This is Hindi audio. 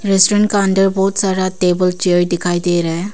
रेस्टोरेंट का अंदर बहुत सारा टेबल चेयर दिखाई दे रहा है।